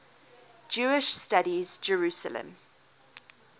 jewish studies jerusalem